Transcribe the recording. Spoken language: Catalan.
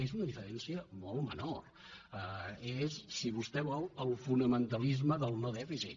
és una diferència molt menor és si vostè vol el fonamentalisme del no dèficit